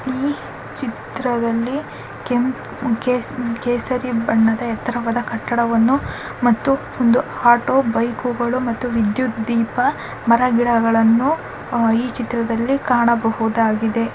ಈ ಚಿತ್ರದಲ್ಲಿ ಕೆಂಪ್ ಕೇಸ ಕೇಸರಿ ಬಣ್ಣದ ಎತ್ತರವಾದ ಕಟ್ಟಡವನ್ನು ಮತ್ತು ಒಂದು ಆಟೋ ಬೈಕುಗಳು ಮತ್ತು ವಿದ್ಯುತ್ ದೀಪ ಮರಗಿಡಗಳನ್ನು ಆಹ್ ಈ ಚಿತ್ರದಲ್ಲಿ ಕಾಣಬಹುದಾಗಿದೆ .